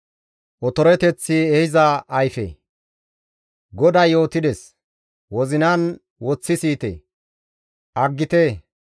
GODAY yootides; wozinan woththi siyite; aggite otoranchcha gidopite.